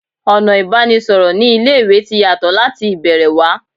Ọ̀nà ìbánisọ̀rọ̀ ní ilé ìwé ti yàtọ̀ láti ìbẹ̀rẹ̀ wá